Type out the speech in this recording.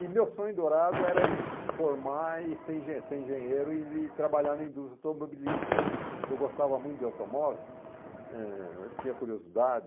E meu sonho dourado era isso formar e ser enge ser engenheiro e trabalhar na indústria automobilística, porque eu gostava muito de automóvel, eh, eu tinha curiosidade.